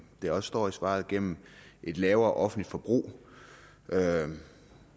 der også står i svaret gennem et lavere offentligt forbrug